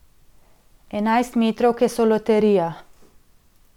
Enajstmetrovke so loterija.